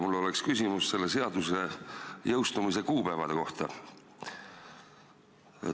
Mul oleks küsimus selle seaduse jõustumise kuupäevade kohta.